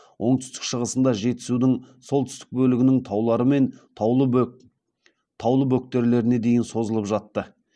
оңтүстік шығысында жетісудың солтүстік бөлігінің таулары мен таулы бөктерлеріне дейін созылып жатты